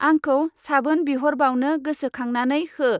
आंखौ साबोन बिहरबावनो गोसोखांनानै हो।